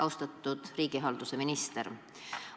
Austatud riigihalduse minister!